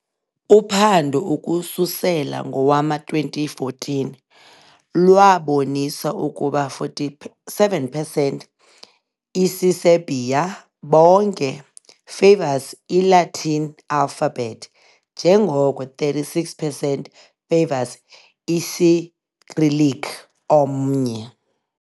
A uphando ukususela ngowama-2014 lwabonisa ukuba 47 percent isiserbia bonke favors i-Latin alphabet njengoko 36 percent favors i-Isicyrillic omnye.